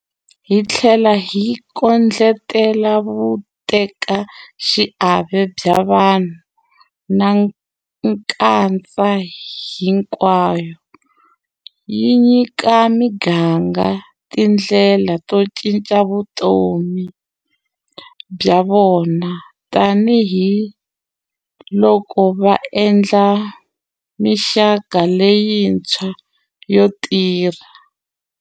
Yi tlhela yi kondletela vutekaxiave bya vanhu na nkatsa hinkwavo, yi nyika miganga tindlela to cinca vutomi bya vona tanihiloko va endla mixaka leyintshwa ya tirha.